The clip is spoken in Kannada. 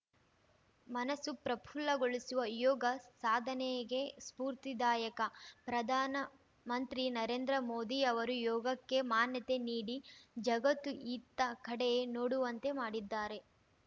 ಮನಸ್ಸು ಪ್ರಫುಲ್ಲಗೊಳಿಸುವ ಯೋಗ ಸಾಧನೆಗೆ ಸ್ಪೂರ್ತಿದಾಯಕ ಪ್ರಧಾನಮಂತ್ರಿ ನರೇಂದ್ರ ಮೋದಿ ಅವರು ಯೋಗಕ್ಕೆ ಮಾನ್ಯತೆ ನೀಡಿ ಜಗತ್ತು ಇತ್ತ ಕಡೆ ನೋಡುವಂತೆ ಮಾಡಿದ್ದಾರೆ